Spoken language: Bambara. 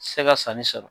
Se ka sanni sɔrɔ